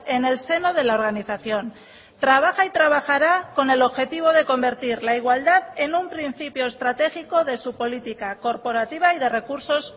en el seno de la organización trabaja y trabajará con el objetivo de convertir la igualdad en un principio estratégico de su política corporativa y de recursos